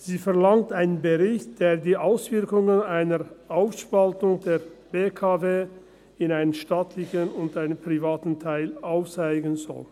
– Sie verlangt einen Bericht, der die Auswirkungen einer Aufspaltung der BKW in einen staatlichen und in einen privaten Teil aufzeigen soll.